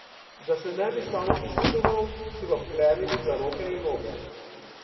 Da se ne bi samopoškodoval, so ga vklenili za roke in noge.